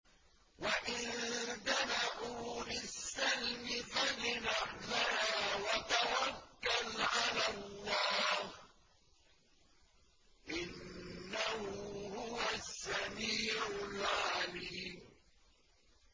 ۞ وَإِن جَنَحُوا لِلسَّلْمِ فَاجْنَحْ لَهَا وَتَوَكَّلْ عَلَى اللَّهِ ۚ إِنَّهُ هُوَ السَّمِيعُ الْعَلِيمُ